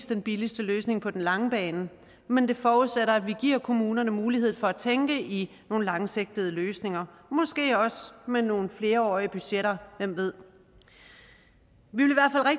den billigste løsning på den lange bane men det forudsætter at vi giver kommunerne mulighed for at tænke i nogle langsigtede løsninger og måske også med nogle flerårige budgetter hvem ved